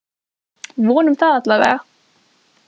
Vonum það allavega!